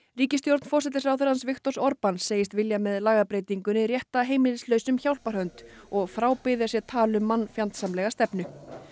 ríkisstjórn forsætisráðherrans Viktors segist vilja með lagabreytingunni rétta heimilislausum hjálparhönd og frábiðja sér tal um mannfjandsamlega stefnu